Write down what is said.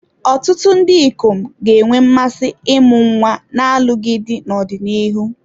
Ọtụtụ ndị ikom ga-enwe mmasị ịmụ nwa n'alụghị di n'ọdịnihu.